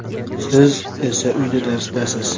Siz esa uyda darsdasiz!!!